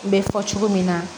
N bɛ fɔ cogo min na